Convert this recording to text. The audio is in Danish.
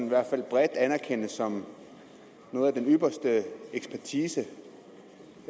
i hvert fald bredt anerkendes som noget af den ypperste ekspertise